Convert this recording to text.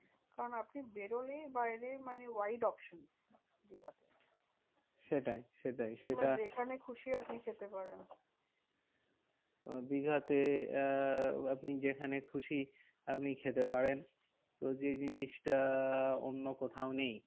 আপনি খেতে পারেন। তো যে জিনিসটা অন্য কোথাও নেই।